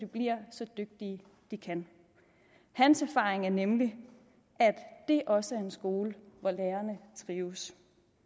blive så dygtige de kan hans erfaring er nemlig at det også er en skole hvor lærerne trives